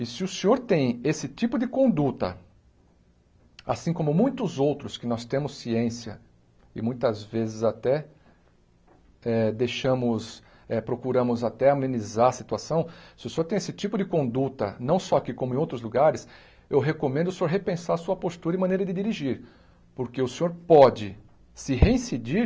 E se o senhor tem esse tipo de conduta, assim como muitos outros que nós temos ciência e muitas vezes até até deixamos eh procuramos até amenizar a situação, se o senhor tem esse tipo de conduta, não só aqui como em outros lugares, eu recomendo o senhor repensar a sua postura e maneira de dirigir, porque o senhor pode se reincidir